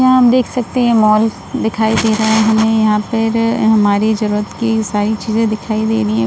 यहाँ हम देख सकते हैं मॉल दिखाई दे रहा है हमें या फिर हमरी जरूरत की सारी चीजें दिखाई दे रही हैं।